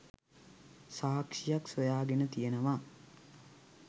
සාක්ෂියක් සොයාගෙන තියෙනවා.